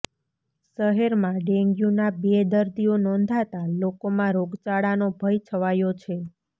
શહેરમાં ડેન્ગ્યુના બે દર્દીઓ નોંધાતાં લોકોમાં રોગચાળાનો ભય છવાયો છે